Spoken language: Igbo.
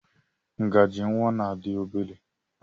Ngaji nwa na dị obere.